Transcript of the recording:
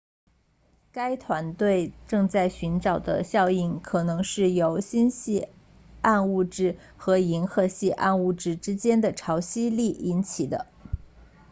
该团队正在寻找的效应可能是由星系暗物质和银河系暗物质之间的潮汐力引起的